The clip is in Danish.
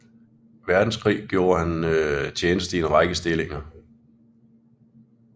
Verdenskrig gjorde han tjeneste i en række stillinger